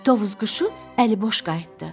Tovuz quşu əliboş qayıtdı.